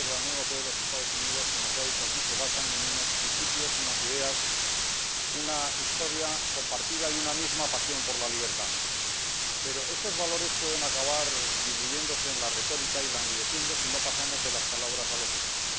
Las relaciones entre la Unión Europea y los Estados Unidos, como se ha dicho aquí, se basan en unos principios, unas ideas, una historia compartida y una misma pasión por la libertad. Pero estos valores pueden acabar diluyéndose en la retórica y languideciendo si no pasamos de las palabras a los hechos.